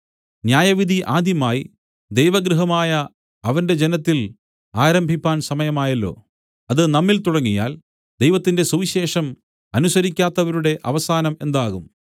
ന്യായവിധി ആദ്യമായി ദൈവഗൃഹമായ അവന്‍റെ ജനത്തിൽ ആരംഭിപ്പാൻ സമയമായല്ലോ അത് നമ്മിൽ തുടങ്ങിയാൽ ദൈവത്തിന്റെ സുവിശേഷം അനുസരിക്കാത്തവരുടെ അവസാനം എന്താകും